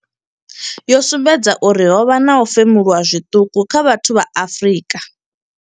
yo sumbedza uri ho vha na u femuluwa zwiṱuku kha vhathu vha Afrika.